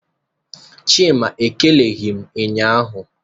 Chima ekeleghị m ụnyahụ.